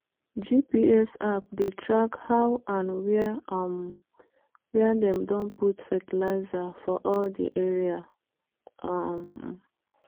gps app dey track how and where um dem don put fertilizer for all the area. um